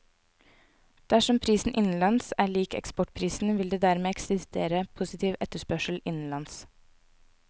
Dersom prisen innenlands er lik eksportprisen, vil det dermed eksistere positiv etterspørsel innenlands.